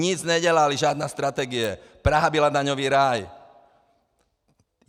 Nic nedělali, žádná strategie, Praha byla daňový ráj.